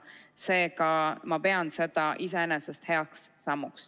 Seega ma pean seda iseenesest heaks sammuks.